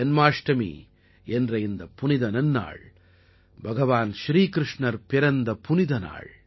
ஜன்மாஷ்டமி என்ற இந்தப் புனித நன்னாள் பகவான் ஸ்ரீகிருஷ்ணர் பிறந்த புனித நாள்